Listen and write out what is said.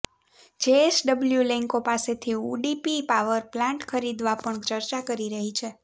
JSW Lanco પાસેથી Udupi power plant ખરીદવા પણ ચર્ચા કરી રહી છે